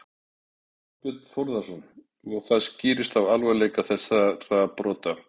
Þorbjörn Þórðarson: Og það skýrist af alvarleika þessara brota?